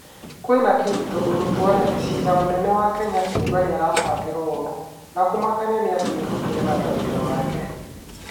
Kwĩna kĩ,? Tondũ mũtuanĩri cira mũnene wa Kenya kuuga nĩ arabangirwo ũũru. Na kũmakia atĩ nĩ egũtigana na wĩra wake.